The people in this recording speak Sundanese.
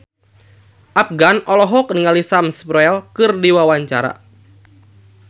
Afgan olohok ningali Sam Spruell keur diwawancara